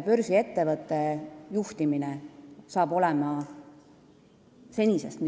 Praegu on juhtimine väga hea, aga börsiettevõtte juhtimine saab olema senisest